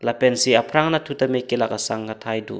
lapen si aprang nat thu ta kelak kesang athai do.